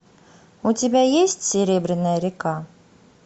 у тебя есть серебряная река